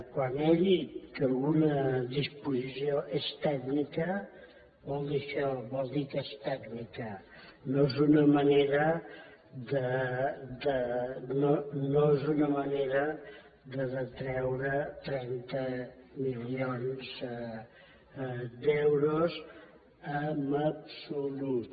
quan he dit que alguna disposició és tècnica vol dir això vol dir que és tècnica no és una manera de detreure trenta milions d’euros en absolut